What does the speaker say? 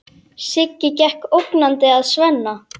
Siggi gekk ógnandi að Svenna.